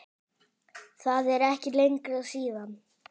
Það er ekki lengra síðan!